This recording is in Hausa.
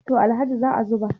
to Alhaji za a zuba